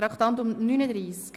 Wir kommen zum Traktandum 39: